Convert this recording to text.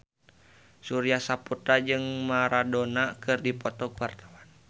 Surya Saputra jeung Maradona keur dipoto ku wartawan